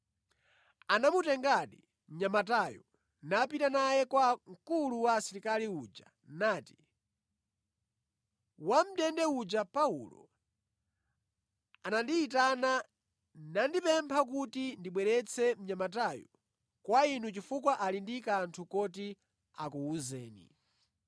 Anamutengadi mnyamatayo napita naye kwa mkulu wa asilikali uja, nati, “Wamʼndende uja Paulo anandiyitana, nandipempha kuti ndibweretse mnyamatayu kwa inu chifukwa ali ndi kanthu koti akuwuzeni.”